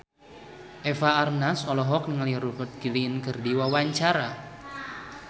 Eva Arnaz olohok ningali Rupert Grin keur diwawancara